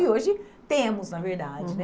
E hoje temos, na verdade, né?